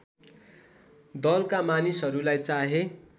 दलका मानिसहरूलाई चाहे